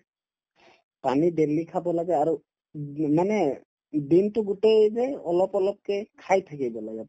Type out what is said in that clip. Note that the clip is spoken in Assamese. পানী daily খাব লাগে আৰু মানে দিনতো গোটেই যে অলপ অলপকে খাই থাকিব লাগে